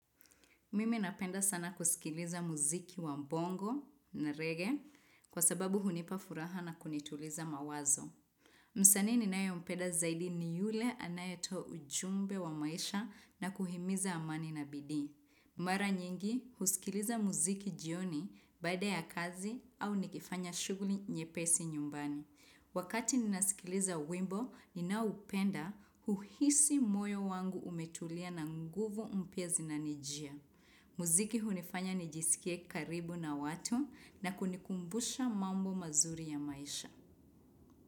Mimi napenda sana kusikiliza muziki wa bongo na reggae kwa sababu hunipa furaha na kunituliza mawazo. Msanii ninayompenda zaidi ni yule anayetoa ujumbe wa maisha na kuhimiza amani na bidi. Mara nyingi, husikiliza muziki jioni baada ya kazi au nikifanya shuguli nyepesi nyumbani. Wakati ninasikiliza wimbo, ninaupenda uhisi moyo wangu umetulia na nguvu mpya zinanijia. Muziki hunifanya nijisikie karibu na watu na kunikumbusha mambo mazuri ya maisha.